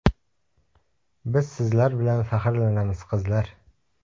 Biz sizlar bilan faxrlanamiz, qizlar!